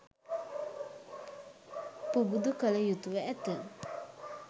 පුබුදු කළ යුතුව ඇත.